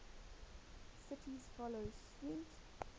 cities follow suit